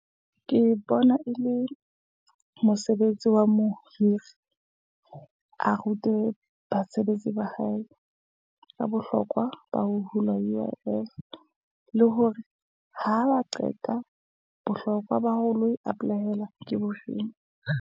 Ke bona e le mosebetsi wa mohiri. A rute basebetsi ba hae ka bohlokwa ba ho hula UIF. Le hore ha ba qeta bohlokwa ba ho lo e apply-ela ke bofeng.